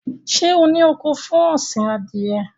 Ṣé ó ní oko fún ọ̀sìn Adìẹ?